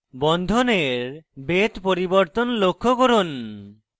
বন্ধনের বেধ পরিবর্তন লক্ষ্য করুন